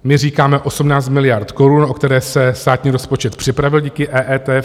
My říkáme 18 miliard korun, o které se státní rozpočet připravil díky EET.